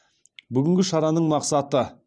бүгінгі шараның мақсаты